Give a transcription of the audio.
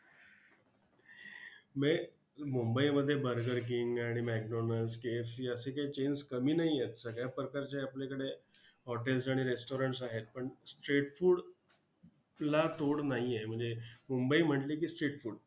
मुंबईमध्ये burger king आणि macdonalds, KFC असे काही chains कमी नाही आहेत सगळ्या प्रकारचे आपल्याकडे hotels आणि restaurants आहेत पण street food ला तोड नाही आहे म्हणजे मुंबई म्हंटल की street food